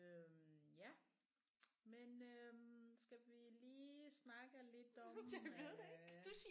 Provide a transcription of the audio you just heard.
Øh ja men øh skal vi lige snakke om lidt om øh